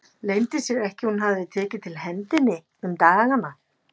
Leyndi sér ekki að hún hafði tekið til hendi um dagana.